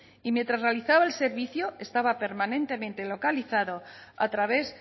y mientras realizaba el servicio estaba permanentemente localizado a través